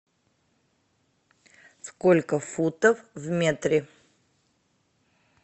сколько футов в метре